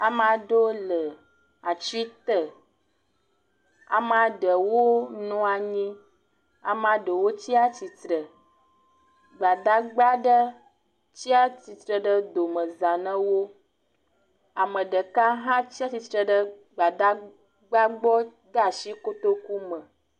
Ame aɖewo le atsi te. Amea ɖewo nɔ anyi. Amea ɖewo tsi atsitre. Gbadagba aɖe tsi atsitre ɖe domeza na wo. Ame ɖeka hã tsi atsitre ɖe gbadagba gbɔ de asi kotoku me.